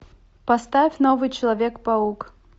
поставь новый человек паук